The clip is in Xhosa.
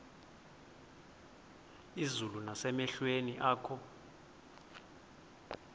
izulu nasemehlweni akho